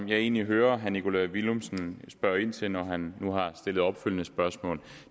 jeg egentlig hører herre nikolaj villumsen spørge ind til når han nu har stillet opfølgende spørgsmål